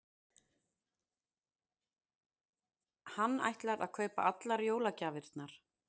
Hann ætlar að kaupa allar jólagjafirnar.